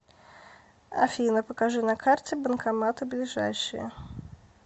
афина покажи на карте банкоматы ближайшие